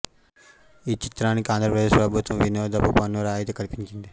ఈ చిత్రానికి ఆంధ్రప్రదేశ్ ప్రభుత్వం వినోదపు పన్ను రాయితీ కల్పించింది